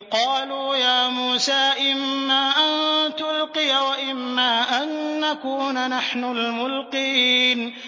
قَالُوا يَا مُوسَىٰ إِمَّا أَن تُلْقِيَ وَإِمَّا أَن نَّكُونَ نَحْنُ الْمُلْقِينَ